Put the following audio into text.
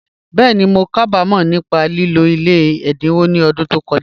Bẹ́ẹ̀ni, mó kábàmọ̀ nípá lìlọ̀ ilẹ̀ èdínwọ̀ ní ọ̀dún tó kọ̀jà